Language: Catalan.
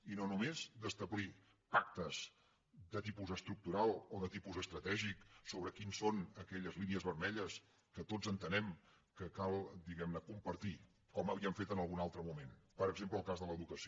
i no només d’establir pactes de tipus estructural o de tipus estratègic sobre quines són aquelles línies vermelles que tots entenem que cal diguem ne compartir com havíem fet en algun altre moment per exemple el cas de l’educació